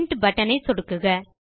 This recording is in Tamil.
பிரின்ட் பட்டன் மீது சொடுக்குக